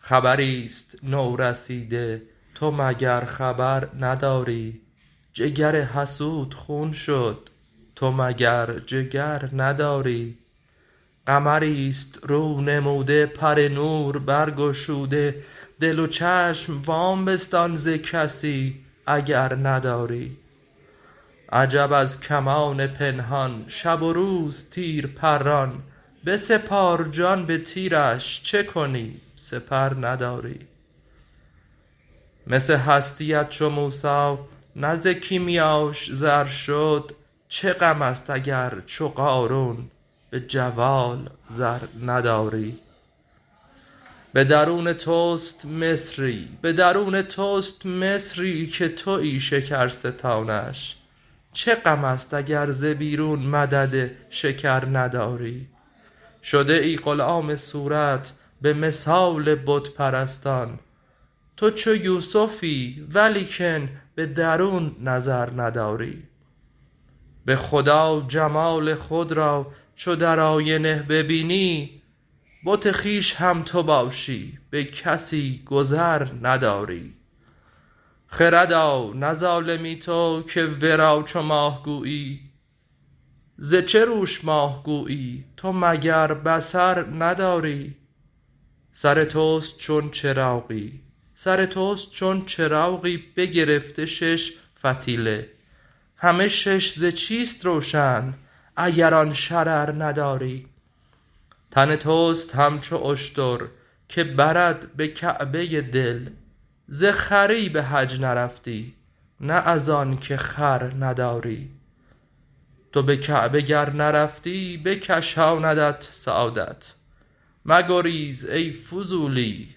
خبری است نورسیده تو مگر خبر نداری جگر حسود خون شد تو مگر جگر نداری قمری است رونموده پر نور برگشوده دل و چشم وام بستان ز کسی اگر نداری عجب از کمان پنهان شب و روز تیر پران بسپار جان به تیرش چه کنی سپر نداری مس هستیت چو موسی نه ز کیمیاش زر شد چه غم است اگر چو قارون به جوال زر نداری به درون توست مصری که توی شکرستانش چه غم است اگر ز بیرون مدد شکر نداری شده ای غلام صورت به مثال بت پرستان تو چو یوسفی ولیکن به درون نظر نداری به خدا جمال خود را چو در آینه ببینی بت خویش هم تو باشی به کسی گذر نداری خردا نه ظالمی تو که ورا چو ماه گویی ز چه روش ماه گویی تو مگر بصر نداری سر توست چون چراغی بگرفته شش فتیله همه شش ز چیست روشن اگر آن شرر نداری تن توست همچو اشتر که برد به کعبه دل ز خری به حج نرفتی نه از آنک خر نداری تو به کعبه گر نرفتی بکشاندت سعادت مگریز ای فضولی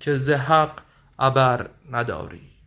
که ز حق عبر نداری